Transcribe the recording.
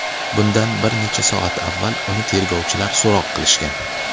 Bundan bir necha soat avval uni tergovchilar so‘roq qilishgan.